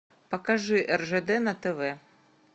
покажи ржд на тв